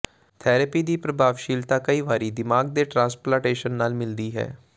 therapy ਦੀ ਪ੍ਰਭਾਵਸ਼ੀਲਤਾ ਕਈ ਵਾਰੀ ਦਿਮਾਗ ਦੇ ਟਰਾਂਸਪਲਾਂਟੇਸ਼ਨ ਦੇ ਨਾਲ ਮਿਲਦੀ ਹੈ